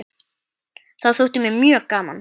Það þótti mér mjög gaman.